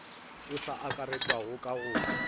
o sa akaretšwago ka go